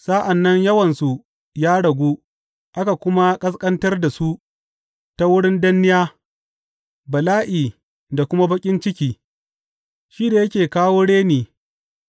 Sa’an nan yawansu ya ragu, aka kuma ƙasƙantar da su ta wurin danniya, bala’i da kuma baƙin ciki; shi da yake kawo reni